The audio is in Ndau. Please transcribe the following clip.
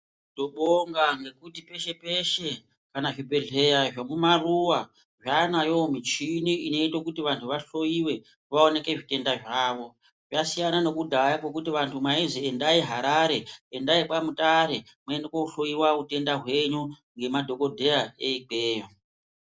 Tobonga nekuti peshe peshe kana zvibhedla zvekumaruwa zvaanayowo michini inoite kuti anhu bahloriwe vaonekwe zvitenda zvavo. Zvasiyana nekudhaya kwekuti vantu mayinzi endayi Harare ,endayikwa Mutare muende kohloriwa hutenda hwenyu nemadhogodheya ekweyiyo.